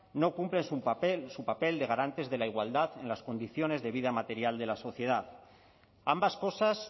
no cumplen su papel de garantes de la igualdad en las condiciones de vida material de la sociedad ambas cosas